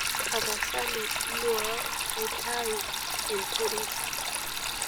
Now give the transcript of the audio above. tapasali nuaa naitauu enterit